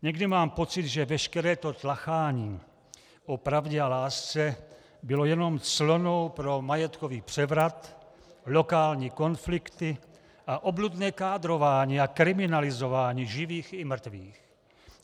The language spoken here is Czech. Někdy mám pocit, že veškeré to tlachání o pravdě a lásce bylo jenom clonou pro majetkový převrat, lokální konflikty a obludné kádrování a kriminalizování živých i mrtvých.